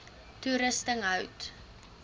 toerusting hout